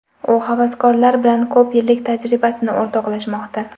U havaskorlar bilan ko‘p yillik tajribasini o‘rtoqlashmoqda.